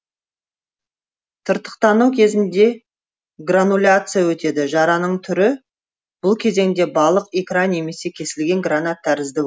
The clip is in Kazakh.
тыртықтану кезінде грануляция өтеді жараның түрі бұл кезеңде балық икра немесе кесілген гранат тәрізді